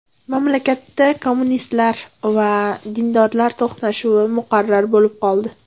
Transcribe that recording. Mamlakatda kommunistlar va dindorlar to‘qnashuvi muqarrar bo‘lib qoldi.